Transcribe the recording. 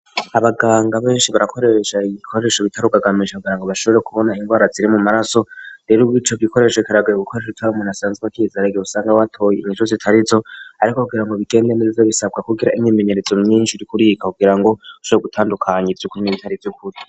Abaganga benshi barakoresha ibikoresho bitarukagamije kugira ngo bashobore kubona indwara ziri mu maraso rero ubwico bikoresho ikaragaye gukoresho tabimuntu asanzwe kizerge busanga watoye inkiju zitari zo ariko kugirango bigende neza bisabwa kugira imyimenyeretso myinshi rikurika kugira ngo usobe gutandukanya iryukuri n'ibitari vy'ukuri.